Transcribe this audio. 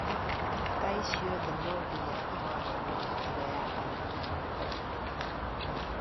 Tai ciothe no nginya ihanane tiga ya anene a arutwo